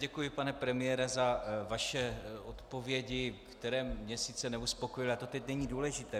Děkuji, pane premiére, za vaše odpovědi, které mě sice neuspokojily, ale to teď není důležité.